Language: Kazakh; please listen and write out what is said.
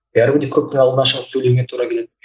бәрібір де көптің алдына шығып сөйлеуіңе тура келеді